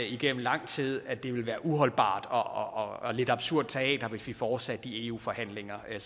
igennem lang tid at det ville være uholdbart og lidt absurd teater hvis vi fortsatte de eu forhandlinger der